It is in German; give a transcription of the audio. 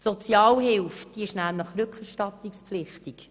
Die Sozialhilfe ist nämlich rückerstattungspflichtig.